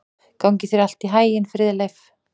Gangi þér allt í haginn, Friðleif.